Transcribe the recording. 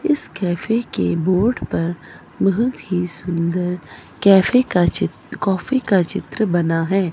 इस कैफे के बोर्ड पर बहुत ही सुंदर कैफे का चित्र कॉफी का चित्र बना है।